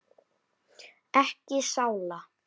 Ekki sála.